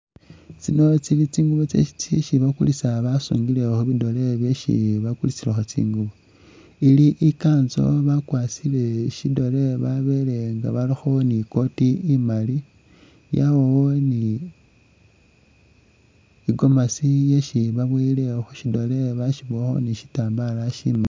Tsino tsili tsingubo tsisi bakulisa basungilekho bidoole byesi bakulisilakho tsingubo ili i'kansu bakwasile shidoole babele nga barakho icooti imaali yabawo ni i'gomasi isi babowele awo khushidoole bashibowakho ni shitambal shi..